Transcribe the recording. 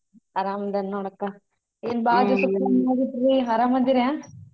ಅರಾಮಿದೇನ್ ನೋಡಕ್ಕ ಏನ್ ಬಾಳ ದಿವ್ಯಸಕ್ಕ ಅರಾಮಿದಿರ?